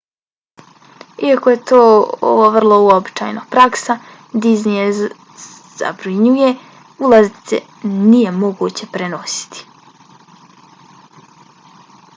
iako je to ovo vrlo uobičajena praksa disney je zabranjuje: ulaznice nije moguće prenositi